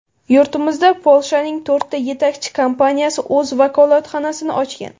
Yurtimizda Polshaning to‘rtta yetakchi kompaniyasi o‘z vakolatxonasini ochgan.